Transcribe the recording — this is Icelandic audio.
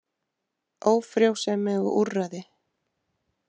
Ófrjósemi og úrræði.